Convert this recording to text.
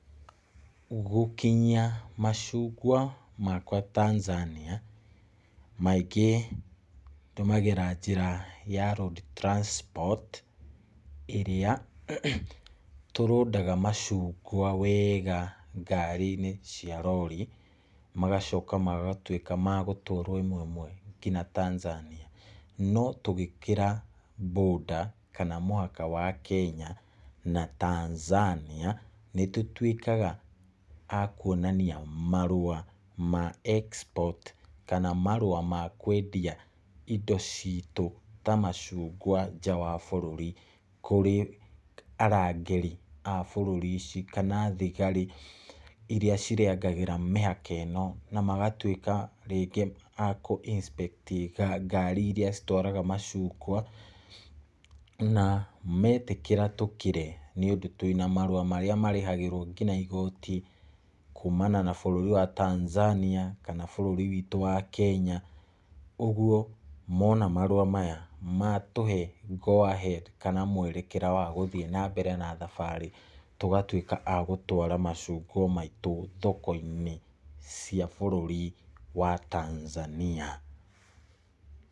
Gũkinyia macungwa makwa Tanzania, maingĩ ndũmagĩra njĩra ya road transport ĩrĩa tũrũdaga macungwa wega ngari-inĩ cia rori, magacoka magatwĩka magũtwarwo ĩmwe ĩmwe nginya Tanzania , no tũgĩkĩra border kana mũhaka wa Kenya na Tanzania, nĩtũtwĩkaga a kwonania marua ma export, kana marua ma kwendia indo citũ ta macungwa nja wa bũrũri kũrĩ arangĩri a bũrũri ũcio, kana thigari iria cirangagĩra mĩhaka ĩno, na magatwĩka rĩngĩ akũ inspect ngari iria citwaraga macungwa , na metĩkĩra tũkĩre nĩ ũndũ twĩna marua marĩa nginya marĩhagĩrwo igoti kumana na bũrũri wa Tanzania, kana bũrũri witũ wa Kenya, ũgwo mona marua maya matũhe go ahead, kana mwerekera wa gũthiĩ na mbere na thabarĩ, tũgatwĩka agũtwara macungwa maitũ thoko-inĩ cia bũrũri wa Tanzania.